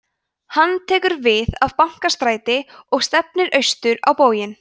hann tekur við af bankastræti og stefnir austur á bóginn